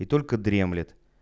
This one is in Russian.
и только дремлет